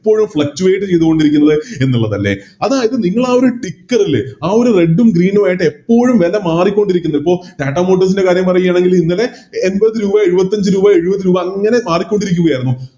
Fluctuate ചെയ്തുകൊണ്ടിരിക്കുന്നത് എന്നുള്ളതല്ലെ അതായത് നിങ്ങളാ ഒരു Ticker ഇല്ലേ ആ ഒരു Red ഉം Green ഉം എപ്പോഴും വെല മാറിക്കൊണ്ടിരിക്കുന്നു ഇപ്പൊ TATAMotors ൻറെ കാര്യം പറയുകയാണെങ്കില് ഇന്നലെ എൺപത് രൂപ എഴുപത്തഞ്ച് രൂപ എഴുപത് രൂപ അങ്ങനെ മാറിക്കൊണ്ടിരിക്കുകയായിരുന്നു